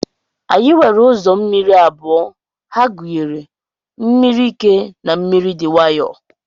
Anyi nwere uzọ mmiri abụọ, ha gunyere mmiri ike na mmiri di nwayo.